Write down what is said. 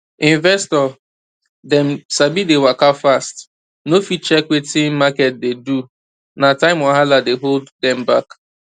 investor dem sabi dey waka fast no fit check wetin market dey do na time wahala dey hold dem back